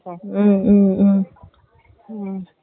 ம்ம்ம்ம்.